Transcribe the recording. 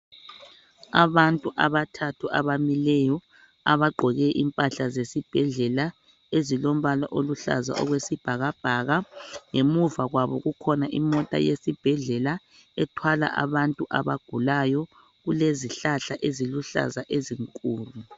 Abantu abathathu abamileyo abagqoke impahla zesibhedlela ezilombala oluhlaza okwezibhakabhaka ngemuva kwabo kukhona imota yesibhedlela ethwala abantu abagulayo. Kulezihlahla Eziluhlaza ezinkulu.